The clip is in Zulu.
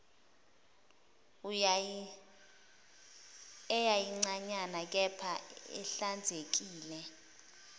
eyayincanyana kepha ihlanzekile